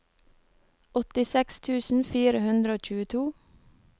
åttiseks tusen fire hundre og tjueto